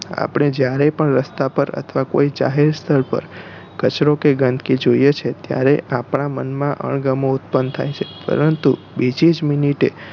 આપણે જયારે પણ રસ્તાપર અથવા કોઈ જાહેર સ્થળ પર કચરો કે ગંદકી જોઈએ છે ત્યારે આપણા મન માં અગમો ઉત્પન્ન થાય છે પરંતુ બીજી જ મિનિટે